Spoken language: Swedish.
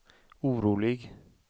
orolig